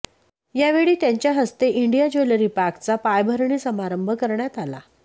यावेळी त्यांच्या हस्ते इंडिया ज्वेलरी पार्कचा पायाभरणी समारंभ करण्यात आला